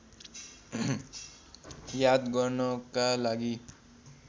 याद गर्नका लागि